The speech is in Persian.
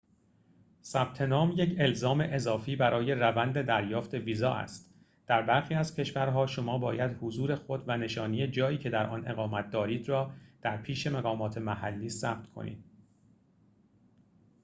ثبت نام یک الزام اضافی برای روند دریافت ویزا است در برخی از کشورها شما باید حضور خود و نشانی جایی که در آن اقامت دارید را در پیش مقامات محلی ثبت کنید